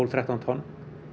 þrettán tonn